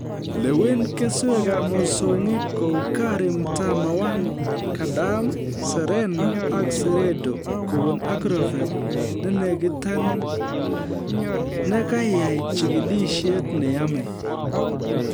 Lewen keswekab mosongik kou KARI Mtama-1,Gadam, Serena ak Seredo kobun agrovet nenekitanin kokaiai jikilisiet ne yamei